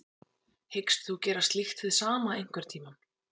Hyggst þú gera slíkt hið sama einhverntímann?